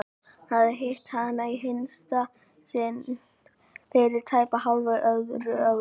Hann hafði hitt hana í hinsta sinn fyrir tæpu hálfu öðru ári.